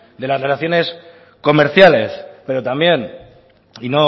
de las relaciones comerciales pero también y